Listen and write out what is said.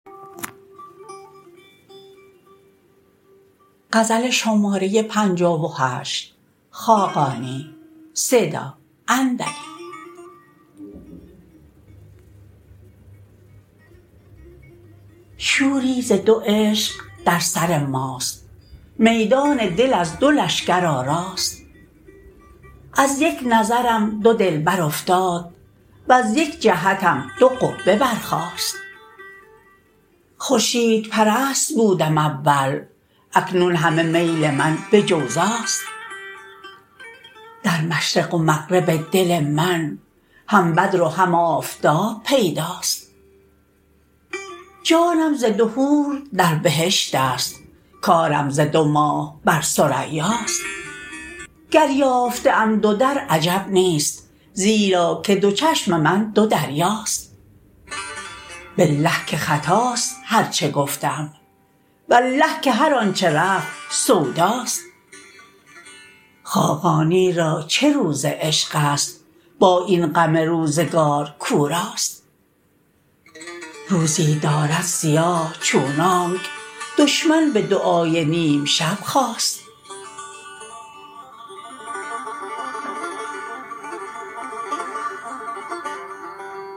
شوری ز دو عشق در سر ماست میدان دل از دو لشکر آراست از یک نظرم دو دلبر افتاد وز یک جهتم دو قبه برخاست خورشیدپرست بودم اول اکنون همه میل من به جوزاست در مشرق و مغرب دل من هم بدر و هم آفتاب پیداست جانم ز دو حور در بهشت است کارم ز دو ماه بر ثریاست گر یافته ام دو در عجب نیست زیرا که دو چشم من دو دریاست بالله که خطاست هرچه گفتم والله که هرآنچه رفت سوداست خاقانی را چه روز عشق است با این غم روزگار کاو راست روزی دارد سیاه چونانک دشمن به دعای نیم ‎شب خواست